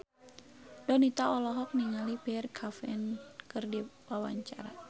Donita olohok ningali Pierre Coffin keur diwawancara